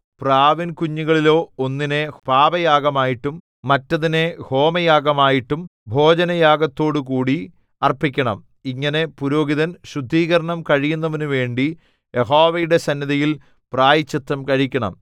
പ്രാവിൻകുഞ്ഞുങ്ങളിലോ ഒന്നിനെ പാപയാഗമായിട്ടും മറ്റതിനെ ഹോമയാഗമായിട്ടും ഭോജനയാഗത്തോടുകൂടി അർപ്പിക്കണം ഇങ്ങനെ പുരോഹിതൻ ശുദ്ധീകരണം കഴിയുന്നവനുവേണ്ടി യഹോവയുടെ സന്നിധിയിൽ പ്രായശ്ചിത്തം കഴിക്കണം